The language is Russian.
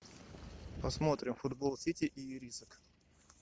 посмотрим футбол сити и ирисок